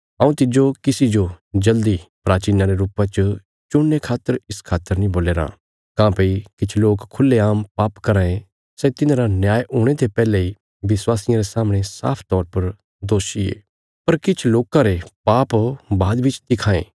हऊँ तिज्जो किसी जो जल्दी प्राचीना रे रुपा च चुणने खातर इस खातर नीं बोल्या राँ काँह्भई किछ लोक खुल्हेआम पाप कराँ ये सै तिन्हांरा न्याय हुणे ते पैहले इ विश्वासियां रे सामणे साफ तौर पर दोषी ये पर किछ लोकां रे पाप बाद बिच दिखां ये